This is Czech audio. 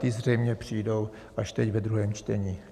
Ty zřejmě přijdou až teď, ve druhém čtení.